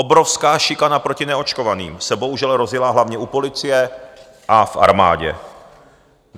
Obrovská šikana proti neočkovaným se bohužel rozjela hlavně u policie a v armádě.